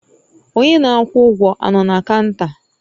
Onye na-akwụ ụgwọ a nọ na kaụnta?